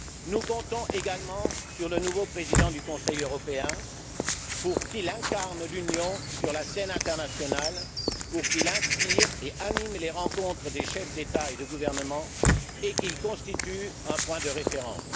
Nous comptons également sur le nouveau président du Conseil européen pour qu'il incarne l'Union sur la scène internationale, qu'il inspire et anime les rencontres des chefs d'État et de gouvernement et qu'il constitue un point de référence.